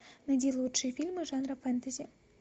найди лучшие фильмы жанра фэнтези